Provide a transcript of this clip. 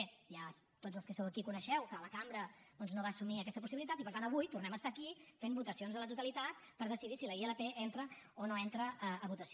bé ja tots els que sou aquí coneixeu que la cambra doncs no va assumir aquesta possibilitat i per tant avui tornem a estar aquí fent votacions a la totalitat per decidir si la ilp entra o no entra a votació